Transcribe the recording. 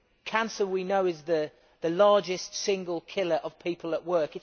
Cancer, we know, is the largest single killer of people at work.